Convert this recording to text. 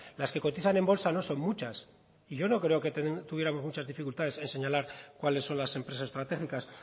las que cotizan en bolsa no son muchas y yo no creo que tuviéramos muchas dificultades en señalar cuáles son las empresas estratégicas